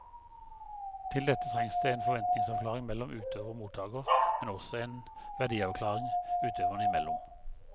Til dette trengs det en forventningsavklaring mellom utøver og mottaker, men også en verdiavklaring utøverne imellom.